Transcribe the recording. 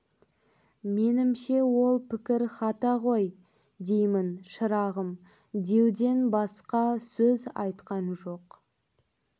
менімше ол пікір хата ғой деймін шырағым деуден басқа сөз айтқан жоқ